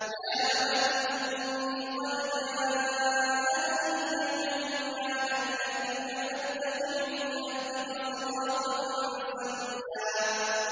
يَا أَبَتِ إِنِّي قَدْ جَاءَنِي مِنَ الْعِلْمِ مَا لَمْ يَأْتِكَ فَاتَّبِعْنِي أَهْدِكَ صِرَاطًا سَوِيًّا